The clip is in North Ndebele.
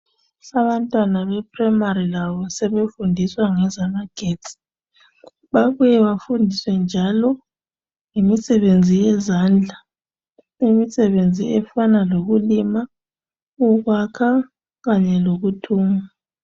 Abantwana beprayimari labo sebefundiswa ngezamagetsi. Babuye bafundiswe njalo ngemisebenzi yezandla. Imisebenzi efana lokulima, ukwakha kanye lokuthunga.